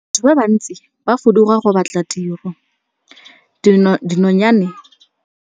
Batho ba bantsi ba fuduga go batla tiro, dinonyane di fuduga ka dikgakologo.